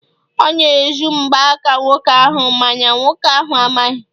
ọ na-ezu mgbaaka nwoke ahụ- mana nwoke ahụ amaghị